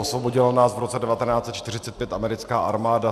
Osvobodila nás v roce 1945 americká armáda.